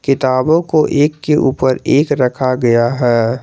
किताबों को एक के ऊपर एक रखा गया है।